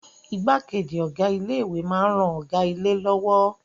Igbákejì Ọ̀gá ilé ìwé máa ń ran Ọ̀gá ilé lọ́wọ́